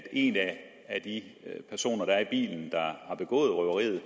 en af de personer der er i bilen der har begået røveriet